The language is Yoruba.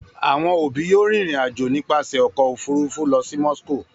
Àwọn òbí yóò rìnrìn-àjò nípasẹ̀ ọkọ̀-òfurufú lọ sí Moscow.